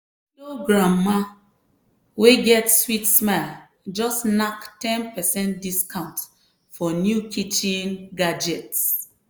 widow granma wey get sweet smile just knack ten percent discount for new kitchen gadgets.